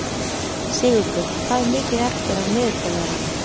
Sigurður, hvað er mikið eftir af niðurteljaranum?